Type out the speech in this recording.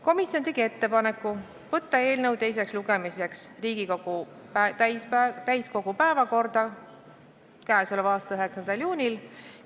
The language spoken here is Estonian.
Komisjon tegi ettepaneku võtta eelnõu teiseks lugemiseks Riigikogu täiskogu päevakorda k.a 9. juuniks.